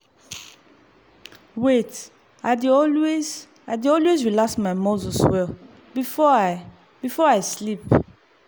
wait- i dey always i dey always relax my muscles well before i before i sleep